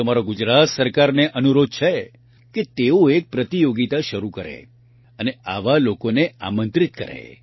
તો મારો ગુજરાત સરકારને અનુરોધ છે કે તેઓ એક પ્રતિયોગિતા શરૂ કરે અને આવા લોકોને આમંત્રિત કરે